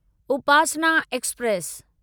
Upasana express